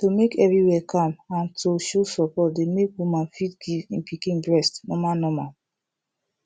to make everywhere calm and to show support dey make woman fit give him pikin breast normal normal